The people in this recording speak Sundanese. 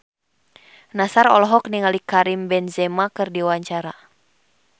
Nassar olohok ningali Karim Benzema keur diwawancara